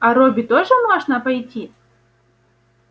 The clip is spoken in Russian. а робби тоже можно пойти